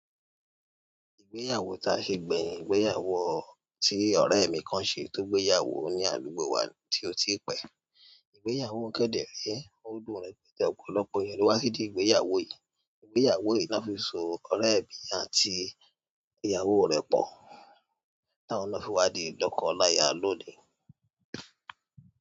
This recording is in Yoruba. Ìgbéyàwó ta ṣe gbẹ̀yin, ìgbéyàwó tí ọ̀rẹ́ mi kan ṣe tó gbéyàwó ní àdúgbò wa tí ó ti pẹ́. Ìgbéyàwó kẹ́dẹ̀ rẹ́, ó dùn ún repẹ̀tẹ́ ọ̀pọ̀lọpọ̀ ènìyàn ló wá sí dí ìgbéyàwó yìí. Ìgbéyàwó yìí ló fi so ọ̀rẹ́ mi àti ìyàwó rẹ̀ pọ̀, tá won na fi wá di lọ́kọ láya lónìí.